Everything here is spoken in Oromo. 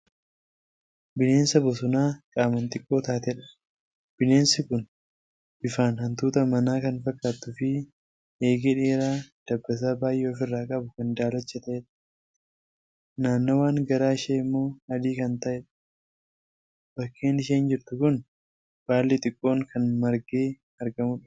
Bineensa bosonaa qaamaan xiqqoo taatedha. Bineensi kun bifaan hantuuta manaa kan fakkaattuufi eegee dheeraa dabbasaa baay'ee of irraa qabu kan daalacha ta'edha. Naannawaan garaa ishee immoo adii kan ta'edha. Bakkeen isheen jirtu kun baalli xixiqqoo kan margee argamudha.